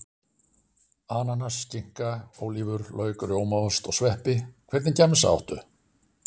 Ananas skinka, ólívur, lauk rjómaost, og sveppi Hvernig gemsa áttu?